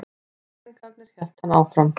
Snillingarnir, hélt hann áfram.